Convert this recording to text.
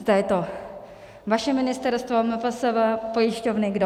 Zda je to vaše ministerstvo, MPSV, pojišťovny, kdo.